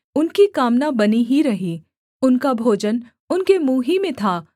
उनकी कामना बनी ही रही उनका भोजन उनके मुँह ही में था